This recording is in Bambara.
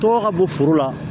Tɔgɔ ka bɔ foro la